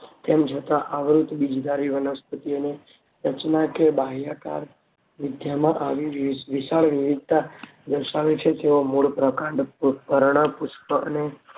તેમ છતાં આવૃત બીજ ધારી વનસ્પતિ ઓની રચના કે બાહ્યકાર વિદ્યાના આની વિશાળ વિવિધતા દર્શાવે છે કે મૂળ પ્રકાંડ પર્ણ પુષ્પ અને